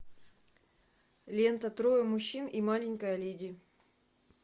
лента трое мужчин и маленькая леди